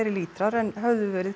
lítrar en höfðu verið